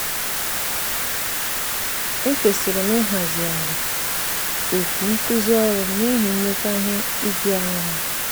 ekwesịrị m ịhazigharị oku nkuzi ọrụ m n'ihi nleta ihe ijuanya ha.